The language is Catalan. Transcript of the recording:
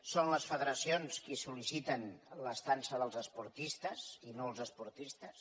són les federacions les que sol·liciten l’estada dels esportistes i no els esportistes